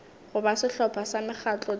goba sehlopha sa mekgatlo tšeo